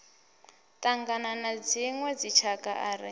ṱangana na dziṋwe dzitshakha ri